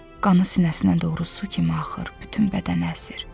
Qanı sinəsinə doğru su kimi axır, bütün bədəni əsir.